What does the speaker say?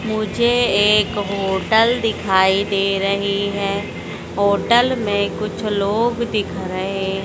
मुझे एक होटल दिखाई दे रही है होटल मे कुछ लोग दिख रहे--